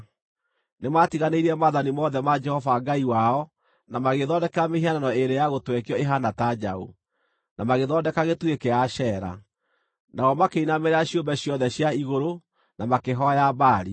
Nĩmatiganĩirie maathani mothe ma Jehova Ngai wao, na magĩĩthondekera mĩhianano ĩĩrĩ ya gũtwekio ĩhaana ta njaũ, na magĩthondeka gĩtugĩ kĩa Ashera. Nao makĩinamĩrĩra ciũmbe ciothe cia igũrũ, na makĩhooya Baali.